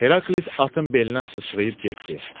Heraklit atın belinə sıçrayıb getdi.